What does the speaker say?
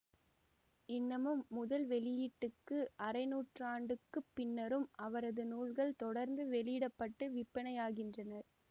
இன்னமும் முதல் வெளியீட்டுக்கு அரைநூற்றாண்டுக்குப் பின்னரும் அவரது நூல்கள் தொடர்ந்து வெளியிட பட்டு விற்பனையாகின்றன